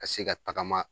Ka se ka tagama